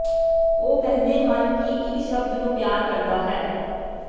ਉਹ ਕਹਿੰਦੇ ਹਨ ਕਿ ਇੱਕ ਸ਼ਬਦ ਨੂੰ ਪਿਆਰ ਕਰਦਾ ਹੈ